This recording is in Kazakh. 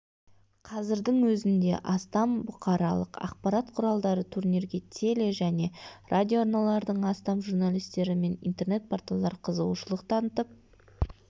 қазірдің өзінде астам бұқаралық ақпарат құралдары турнирге теле және радиоарналардың астам журналистері мен интернет-порталдар қызығушылық танытып